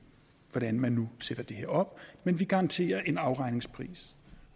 hvordan man nu sætter det her op men vi garanterer en afregningspris